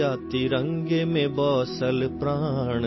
ترنگے میں بس جان ہے